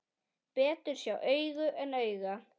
Betur sjá augu en auga.